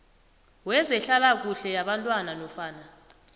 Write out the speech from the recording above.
wezehlalakuhle yabantwana nofana